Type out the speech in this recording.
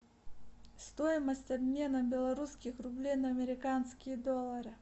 стоимость обмена белорусских рублей на американские доллары